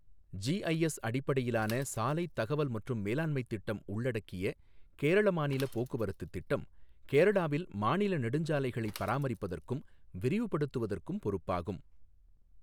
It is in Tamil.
ஜிஐஎஸ் அடிப்படையிலான சாலை தகவல் மற்றும் மேலாண்மைத் திட்டம் உள்ளடக்கிய கேரள மாநில போக்குவரத்துத் திட்டம், கேரளாவில் மாநில நெடுஞ்சாலைகளைப் பராமரிப்பதற்கும் விரிவுபடுத்துவதற்கும் பொறுப்பாகும்.